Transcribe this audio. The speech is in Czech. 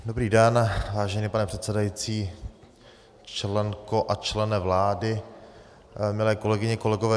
Dobrý den, vážený pane předsedající, členko a člene vlády, milé kolegyně, kolegové.